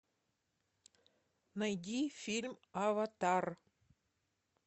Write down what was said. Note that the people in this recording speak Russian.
найди фильм аватар